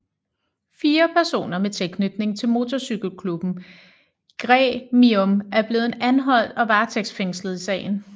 Fire personer med tilknytning til motorcykelklubben Gremium er blevet anholdt og varetægtsfængslet i sagen